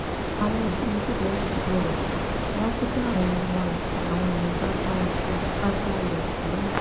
àwọn òbí yìí kò bẹsùbẹgbà wọn ké sí àwọn ọmọọta làwọn yẹn bá bá wọn fipá já ilẹkùn ilé náà